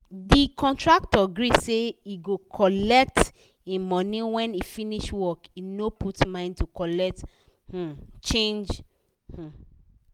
the contractor gree say he cgo collect him money when he finish work he no put mind to colet um change um